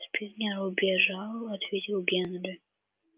спэнкер убежал ответил генри